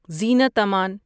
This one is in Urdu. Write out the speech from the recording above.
زینت امن